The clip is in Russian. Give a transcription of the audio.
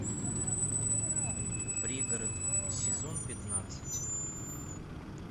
пригород сезон пятнадцать